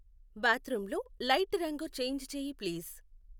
bathroom లో light రంగు change చేయి ప్లీజ్